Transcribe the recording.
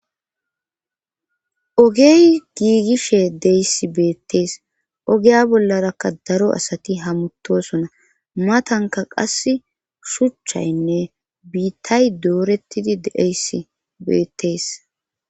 Ogey giigishe deyssi beettees ogeya bollarakka daro asati hamuttosona matanka qass shuchchaynne biittay doorettidi deeysi beettees